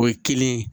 O ye kelen ye